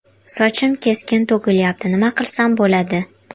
Sochim keskin to‘kilyapti, nima qilsam bo‘ladi?